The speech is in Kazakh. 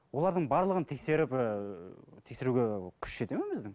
олардың барлығын тексеріп ііі тексеруге күш жете ме біздің